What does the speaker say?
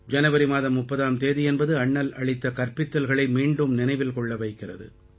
ஜனவரி மாதம் 30ஆம் தேதி என்பது அண்ணல் அளித்த கற்பித்தல்களை மீண்டும் நினைவில் கொள்ள வைக்கிறது